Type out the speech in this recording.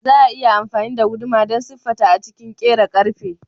Za a iya amfani da guduma don siffata a cikin kera ƙarfe.